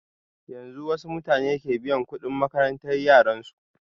Yanzun wasu mata ke biyan kuɗin makaranta yaran su